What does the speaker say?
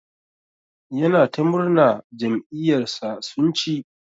Yana ta murna jam'iyar sa sun chi.